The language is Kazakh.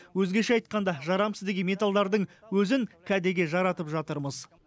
өзгеше айтқанда жарамсыз деген металдардың өзін кәдеге жаратып жатырмыз